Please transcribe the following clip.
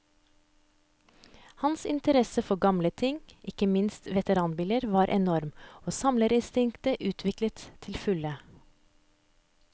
Hans interesse for gamle ting, og ikke minst veteranbiler, var enorm, og samlerinstinktet utviklet til fulle.